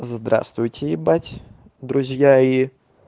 здравствуйте ебать друзья и